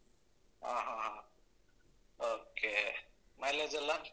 ಆಹಾಹ okay mileage ಎಲ್ಲಾ?